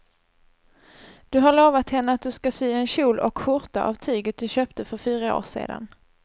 Du har lovat henne att du ska sy en kjol och skjorta av tyget du köpte för fyra år sedan.